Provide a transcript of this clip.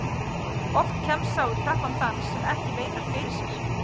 Oft kemst sá í krappan dans sem ekki leitar fyrir sér.